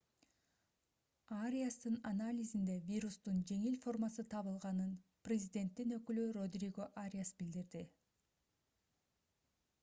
ариастын анализинде вирустун жеңил формасы табылганын президенттин өкүлү родриго ариас билдирди